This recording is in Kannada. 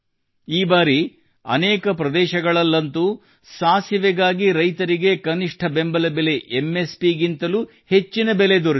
ಈ ಬಾರಿ ಅನೇಕ ಪ್ರದೇಶಗಳಲ್ಲಂತೂ ಸಾಸಿವೆಗಾಗಿ ರೈತರಿಗೆ ಕನಿಷ್ಠ ಬೆಂಬಲ ಬೆಲೆ ಎಂಎಸ್ ಪಿ ಗಿಂತಲೂ ಹೆಚ್ಚಿನ ಬೆಲೆ ದೊರೆತಿದೆ